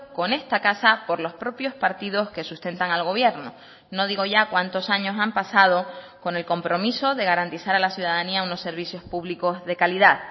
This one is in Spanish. con esta casa por los propios partidos que sustentan al gobierno no digo ya cuantos años han pasado con el compromiso de garantizar a la ciudadanía unos servicios públicos de calidad